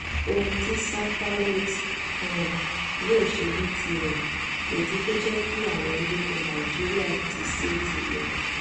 ohun tí santarote um yóò ṣe ní tirẹ kò ju kó jẹ kí àwọn ológun nàìjíríà ti ṣeé tì lọ um